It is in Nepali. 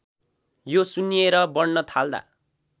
यो सुन्निएर बढ्न थाल्दा